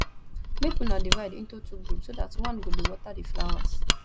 make una divide into two group so dat one go dey water the flowers